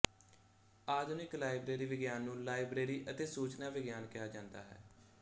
ਆਧੁਨਿਕ ਲਾਇਬ੍ਰੇਰੀ ਵਿਗਿਆਨ ਨੂੰ ਲਾਇਬ੍ਰੇਰੀ ਅਤੇ ਸੂਚਨਾ ਵਿਗਿਆਨ ਕਿਹਾ ਜਾਦਾ ਹੈ